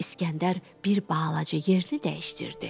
İsgəndər bir balaca yerli dəyişdirdi.